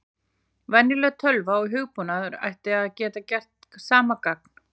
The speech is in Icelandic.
Venjuleg tölva og hugbúnaður ætti að geta gert sama gagn.